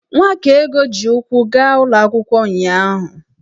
Nwakaego ji ụkwụ gaa ụlọ akwụkwọ ụnyahụ.